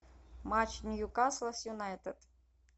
матч ньюкасла с юнайтед